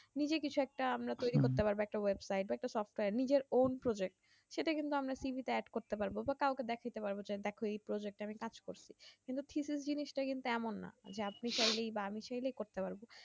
নিজে কিছু একটা আমরা তৈরী করতে পারবো একটা website একটা software নিজের own project সেটা কিন্তু আমরা তিথিসে add করতে পারবো বা কাওকে দেখতে পারবো যে দেখো এই project এ আমি কাজ করছি কিন্তু তিথি জিনিস তা কিন্তু এমন না যে আপনি চাইলেই বা আমি চাইলেই করতে পারবো